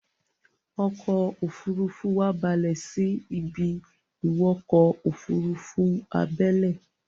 ọkọ̀-òfurufú wa balè sí a ibi-ìwọkọ̀-òfurufú abẹ́lé